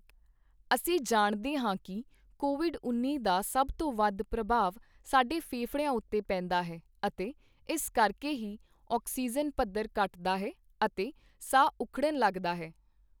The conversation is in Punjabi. ਅਸੀਂ ਜਾਣਦੇ ਹਾਂ ਕੀ ਕੋਵਿਡ ਉੱਨੀ ਦਾ ਸਭ ਤੋਂ ਵੱਧ ਪ੍ਰਭਾਵ ਸਾਡੇ ਫੇਫੜਿਆਂ ਉੱਤੇ ਪੈਂਦਾ ਹੈ ਅਤੇ ਇਸ ਕਰਕੇ ਹੀ ਆਕਸੀਜਨ ਪਧੱਰ ਘੱਟਦਾ ਹੈ, ਅਤੇ ਸਾਹ ਉਖੜਨ ਲੱਗਦਾ ਹੈ।